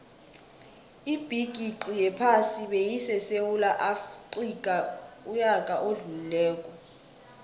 ibigixi yephasi beyisesewula afxica uyaka odlulile